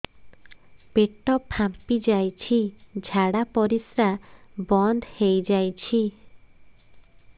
ପେଟ ଫାମ୍ପି ଯାଇଛି ଝାଡ଼ା ପରିସ୍ରା ବନ୍ଦ ହେଇଯାଇଛି